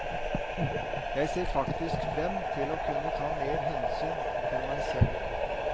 Jeg ser faktisk frem til å kunne ta mer hensyn til meg selv.